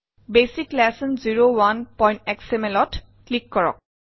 basic lesson 01xml ত click কৰক